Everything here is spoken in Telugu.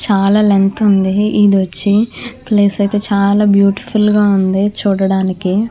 చాలా లెంగ్త్ ఉంది. ఇది వచ్చి ప్లేసు అయితే చాలా బ్యూటిఫుల్ గా ఉంది చూడడానికి.